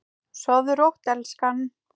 Sofðu rótt elskan.